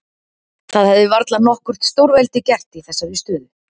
Það hefði varla nokkurt stórveldi gert í þessari stöðu.